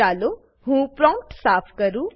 ચાલો હું પ્રોમ્પ્ટ સાફ કરું